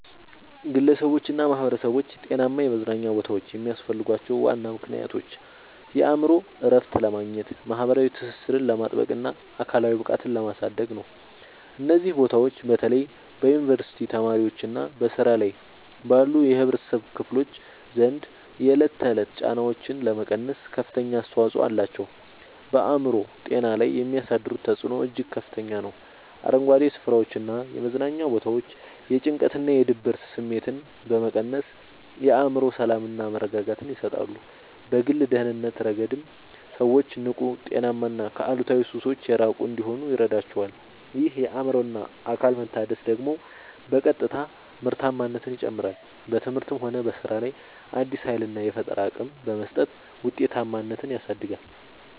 ግለሰቦችና ማኅበረሰቦች ጤናማ የመዝናኛ ቦታዎች የሚያስፈልጓቸው ዋና ምክንያቶች የአእምሮ እረፍት ለማግኘት፣ ማኅበራዊ ትስስርን ለማጥበቅና አካላዊ ብቃትን ለማሳደግ ነው። እነዚህ ቦታዎች በተለይ በዩኒቨርሲቲ ተማሪዎችና በሥራ ላይ ባሉ የኅብረተሰብ ክፍሎች ዘንድ የዕለት ተዕለት ጫናዎችን ለመቀነስ ከፍተኛ አስተዋጽኦ አላቸው። በአእምሮ ጤና ላይ የሚያሳድሩት ተጽዕኖ እጅግ ከፍተኛ ነው፤ አረንጓዴ ስፍራዎችና የመዝናኛ ቦታዎች የጭንቀትና የድብርት ስሜትን በመቀነስ የአእምሮ ሰላምና መረጋጋትን ይሰጣሉ። በግል ደህንነት ረገድም ሰዎች ንቁ: ጤናማና ከአሉታዊ ሱሶች የራቁ እንዲሆኑ ይረዳቸዋል። ይህ የአእምሮና አካል መታደስ ደግሞ በቀጥታ ምርታማነትን ይጨምራል: በትምህርትም ሆነ በሥራ ላይ አዲስ ኃይልና የፈጠራ አቅም በመስጠት ውጤታማነትን ያሳድጋል።